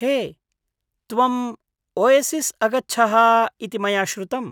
हे, त्वम् ओयसिस् अगच्छः इति मया श्रुतम्।